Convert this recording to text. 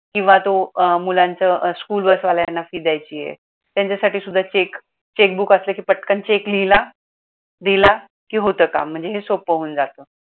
किंवा तो मुलांच्या school bus वाल्यांना fee द्यायची आहे त्यांच्यासाठी सुद्धा check checkbook असलं कि पटकन check लिहिला दिला कि होतं काम म्हणजे हे सोप्प होऊन जातं.